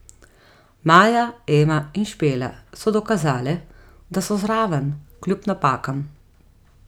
Maja, Ema in Špela so dokazale, da so zraven, kljub napakam.